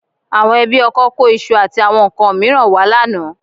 Àwọn ẹbí ọkọ kó iṣu àti àwọn nǹkan mìíràn wá lánàá